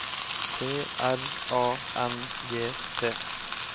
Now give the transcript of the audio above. T R A N G T